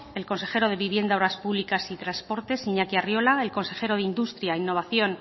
el consejero de vivienda obras públicas y transportes iñaki arriola el consejero de industria innovación